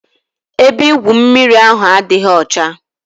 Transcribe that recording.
Ebe igwu mmiri ahụ adịghị ọcha.